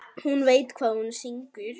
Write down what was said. Hún veit hvað hún syngur.